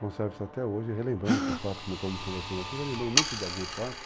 Conservo isso até hoje e relembro esses fatos, como estamos conversando aqui, relembro muito de alguns fatos.